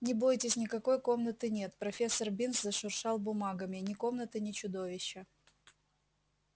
не бойтесь никакой комнаты нет профессор бинс зашуршал бумагами ни комнаты ни чудовища